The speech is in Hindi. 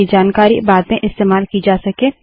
ताकि जानकारी बाद में इस्तेमाल की जा सके